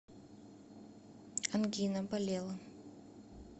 ангина болела